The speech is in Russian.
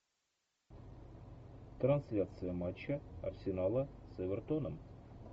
трансляция матча арсенала с эвертоном